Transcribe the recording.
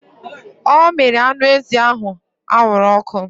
Ọ mere anụ ezi ahụ anwụrụ ọkụ